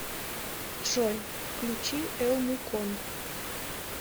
джой включи элмукон